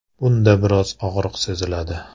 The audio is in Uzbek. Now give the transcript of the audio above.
Bunda biroz og‘riq seziladi.